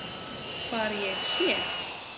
Hvar ég sé.